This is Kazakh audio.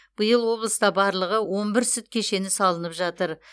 биыл облыста барлығы он бір сүт кешені салынып жатыр